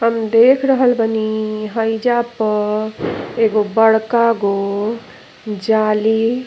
हम देख रहल बनी हइजा प एगो बड़का गो जाली।